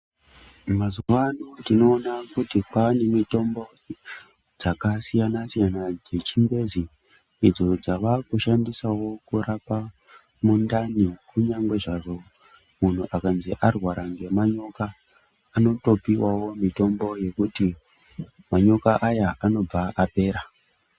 Mazuwa ano tinoona kuti kwaane mitombo dzakasiyanasiyana dzechingezi idzo dzavakushandiswawo kurapa mundani kunyangwezvazvo munhu akanzi warwara ngemudherye anotipiwawo mitombo yekuti mudherye uyu unobva wapera.